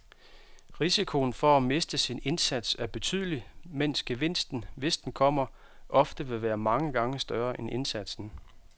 Risikoen for at miste sin indsats er betydelig, mens gevinsten, hvis den kommer, ofte vil være mange gange større end indsatsen.